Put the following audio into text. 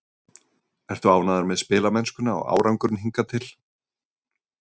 Ertu ánægður með spilamennskuna og árangurinn hingað til?